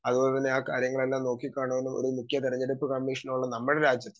speaker 2 അതുപോലെതന്നെ കാര്യങ്ങളുമെല്ലാം നോക്കികാണും ഒരു മുഖ്യ തെരഞ്ഞെടുപ്പ് കമ്മീഷണറോളും നമ്മുടെ രാജ്യത്ത്